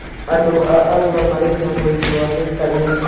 Andũ a Arua marĩ na ũritũ wa mĩikarĩre